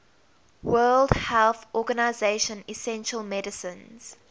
world health organization essential medicines